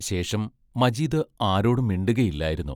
ശേഷം മജീദ് ആരോടും മിണ്ടുകയില്ലായിരുന്നു.